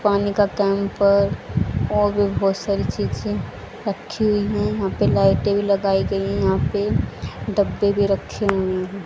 पानी का कैंपर और भी बहुत सारी चीजे रखी हुई है। यहां पे लाइटे भी लगाई गई है। यहां पे डब्बे भी रखें हुए हैं।